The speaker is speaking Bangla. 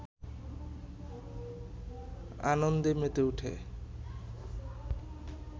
আনন্দে মেতে ওঠে